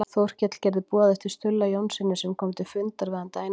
Þórkell gerði boð eftir Stulla Jónssyni sem kom til fundar við hann daginn eftir.